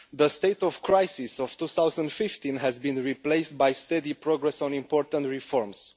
The state of crisis of 2015 has been replaced by steady progress on important reforms.